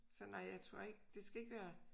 Så nej jeg tror ikke det skal ikke være